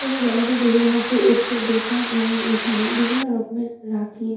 এই জায়গাটি দেখে মনে হচ্ছে একটি দোকান এবং এখানে বিভিন্ন রকমের রাখির--